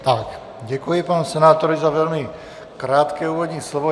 Tak, děkuji panu senátorovi za velmi krátké úvodní slovo.